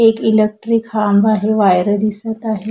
एक इलेक्ट्रिक खांब आहे वायर दिसत आहेत.